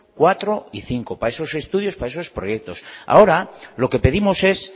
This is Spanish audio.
cuatro y cinco para esos estudios para esos proyectos ahora lo que pedimos es